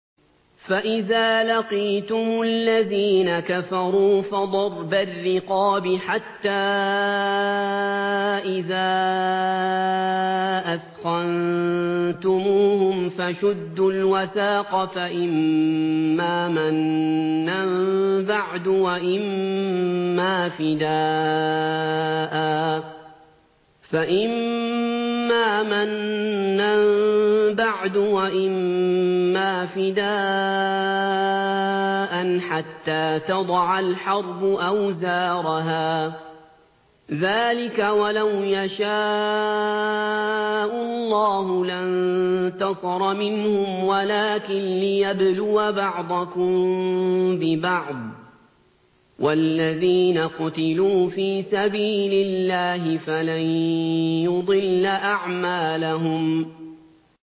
فَإِذَا لَقِيتُمُ الَّذِينَ كَفَرُوا فَضَرْبَ الرِّقَابِ حَتَّىٰ إِذَا أَثْخَنتُمُوهُمْ فَشُدُّوا الْوَثَاقَ فَإِمَّا مَنًّا بَعْدُ وَإِمَّا فِدَاءً حَتَّىٰ تَضَعَ الْحَرْبُ أَوْزَارَهَا ۚ ذَٰلِكَ وَلَوْ يَشَاءُ اللَّهُ لَانتَصَرَ مِنْهُمْ وَلَٰكِن لِّيَبْلُوَ بَعْضَكُم بِبَعْضٍ ۗ وَالَّذِينَ قُتِلُوا فِي سَبِيلِ اللَّهِ فَلَن يُضِلَّ أَعْمَالَهُمْ